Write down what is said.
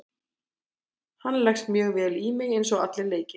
Hann leggst mjög vel í mig eins og allir leikir.